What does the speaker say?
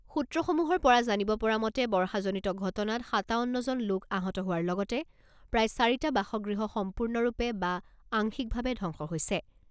সূত্ৰসমূহৰ পৰা জানিব পৰা মতে বৰ্ষাজনিত ঘটনাত সাতাৱন্নজন লোক আহত হোৱাৰ লগতে প্ৰায় চাৰিটা বাসগৃহ সম্পূৰ্ণৰূপে বা আংশিকভাৱে ধবংস হৈছে।